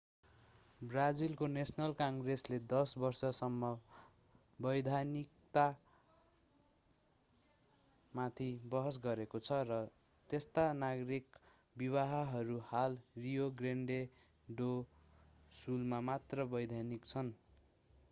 ब्राजिलको नेशनल कङ्ग्रेसले 10 वर्षसम्म वैधानिकतामाथि बहस गरेको छ र त्यस्ता नागरिक विवाहहरू हाल रियो ग्रान्डे डो सुलमा मात्र वैधानिक छन्